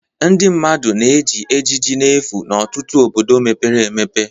Ndị mmadụ na-eji ejiji n'efu n'ọtụtụ obodo mepere emepe